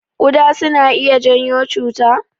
Kuɗa suna iya janyo cuta?